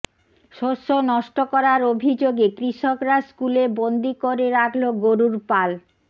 শস্য নষ্ট করার অভিযোগে কৃষকরা স্কুলে বন্দি করে রাখল গরুর পাল